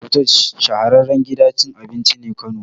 Fatoosh shahararren gidan cin abinci ne Kano